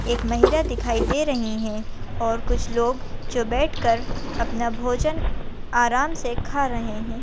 एक महिला दिखाई दे रही है और कुछ लोग जो बैठ कर अपना भोजन आराम से खा रहे है।